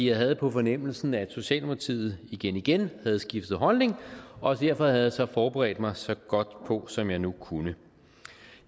jeg havde på fornemmelsen at socialdemokratiet igen igen havde skiftet holdning og derfor havde jeg så forberedt mig så godt som jeg nu kunne